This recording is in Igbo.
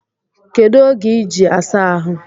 Kedu oge iji asa ahụ?